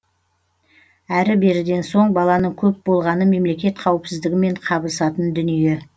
әрі беріден соң баланың көп болғаны мемлекет қауіпсіздігімен қабысатын дүние